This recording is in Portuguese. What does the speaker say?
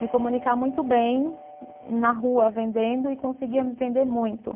Me comunicar muito bem na rua vendendo e conseguia me vender muito.